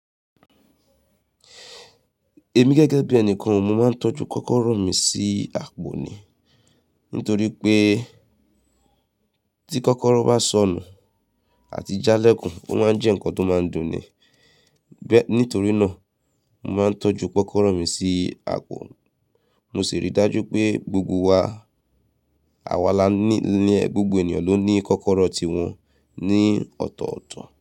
Èmi gẹ́gẹ́ bí ẹni kan, mo máa ń tọ́jú kọ́kọ́rọ́ mi sí àpò ni. Nítorí pé tí kọ́kọ́rọ́ bá sọnù àti jálẹ́kùn, ó máa ń jẹ́ nǹkan tó máa ń dùn ni. Nítorí náà, mo máa ń tọ́jú kọ́kọ́rọ́ mi sí àpò. Mo sì rí dájú pé gbogbo wa, àwa lánì lè, gbogbo ènìyàn ló ní kọ́kọ́rọ́ ti wọn ní ọ̀tọ̀ọ̀tọ̀